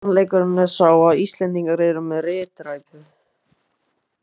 Sannleikurinn er sá að Íslendingar eru með ritræpu!